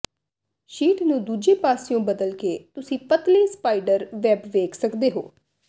sheet ਨੂੰ ਦੂਜੇ ਪਾਸਿਓਂ ਬਦਲ ਕੇ ਤੁਸੀਂ ਪਤਲੇ ਸਪਾਈਡਰ ਵੈਬ ਵੇਖ ਸਕਦੇ ਹੋ